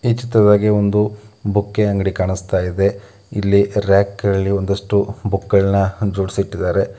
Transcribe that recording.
ಈ ಚಿತ್ರದಾಗೆ ಒಂದು ಬುಕ್‌ ಅಂಗಡಿ ಕಾಣಿಸ್ತಾ ಇದೆ. ಇಲ್ಲಿ ರಾಕ್‌ನಲ್ಲಿ ಒಂದಿಷ್ಟು ಬುಕ್‌ಗಳನ್ನು ಜೋಡಿಸಿ ಇಟ್ಟಿದ್ದಾರೆ.